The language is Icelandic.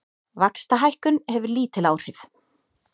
Vaxtahækkun hefur lítil áhrif